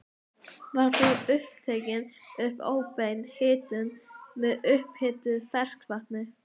Var þá tekin upp óbein hitun með upphituðu ferskvatni.